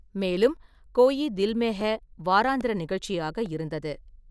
மேலும், கொயி தில் மெ ஹே வாராந்திர நிகழ்ச்சியாக இருந்தது.